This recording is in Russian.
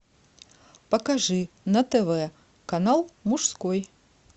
покажи на тв канал мужской